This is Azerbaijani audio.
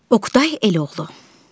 Oqtay Eloğlu.